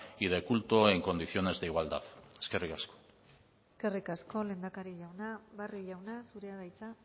y de culto en condiciones de igualdad eskerrik asko eskerrik asko lehendakari jauna barrio jauna zurea da hitza